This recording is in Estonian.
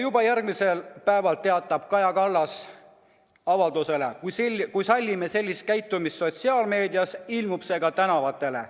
Juba järgmisel päeval teatab Kaja Kallas avalduses, et kui sallime sellist käitumist sotsiaalmeedias, ilmub see ka tänavatele.